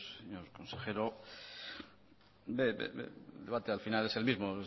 señor consejero el debate al final es el mismo